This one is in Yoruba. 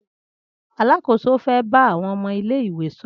Alákóso fẹ bá àwọn ọmọ ilé ìwé sọrọ